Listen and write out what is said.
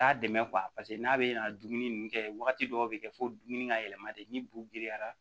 T'a dɛmɛ paseke n'a bɛ na dumuni kɛ wagati dɔw bɛ kɛ fo dumuni ka yɛlɛma de ni bugeyara